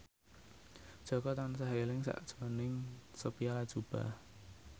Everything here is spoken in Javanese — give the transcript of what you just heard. Jaka tansah eling sakjroning Sophia Latjuba